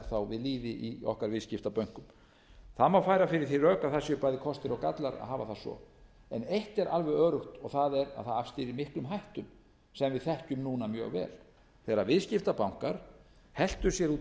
í okkar viðskiptabönkum það má færa fyrir því rök að það séu bæði kostir og gallar að hafa það svo en eitt er alveg öruggt og það er að það afstýrir miklum hættum sem við þekkjum núna mjög vel þegar viðskiptabankar helltu sér út í